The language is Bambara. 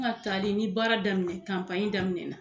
An ka tali ni baara daminɛ daminɛna